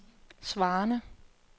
svarende